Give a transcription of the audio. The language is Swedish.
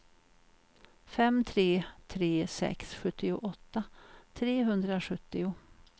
fem tre tre sex sjuttioåtta trehundrasjuttio